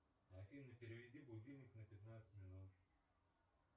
афина переведи будильник на пятнадцать минут